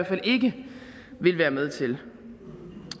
fald ikke vil være med til